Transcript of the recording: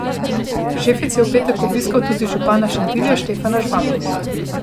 Šefic je v petek obiskal tudi župana Šentilja Štefana Žvaba.